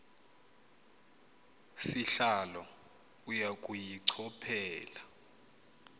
sihlalo uya kuyichophela